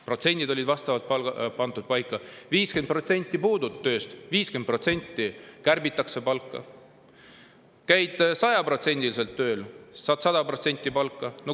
Protsendid olid pandud paika nii, et kui puudud 50% töölt, kärbitakse 50% su palka ja kui käid 100% tööl, saad ka 100% palka.